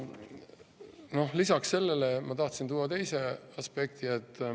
Ja lisaks sellele ma tahtsin tuua teise aspekti.